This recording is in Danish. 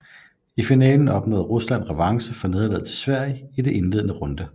I finalen opnåede Rusland revanche for nederlaget til Sverige i den indledende runde